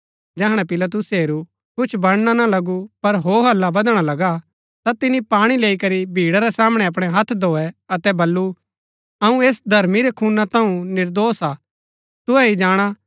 जैहणै पिलातुसै हेरू कि कुछ बनणा ना लगु पर हो हल्ला बदणा लगा ता तिनी पाणी लैई करी भीड़ा रै सामणै अपणै हत्थ धोऐ अतै बल्लू अऊँ ऐस धर्मी रै खूना थऊँ निर्दोष हा तुहै ही जाणा